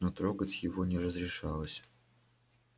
но трогать его не разрешалось